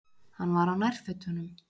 Hann var á nærfötunum.